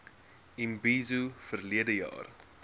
imbizo verlede jaar